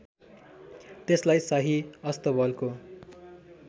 त्यसलाई शाही अस्तबलको